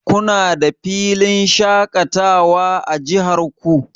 Kuna da filin shaƙatawa a jihar ku?